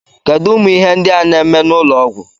Kedu umu Ihe ndi a na eme n'ulo Ọgwụ?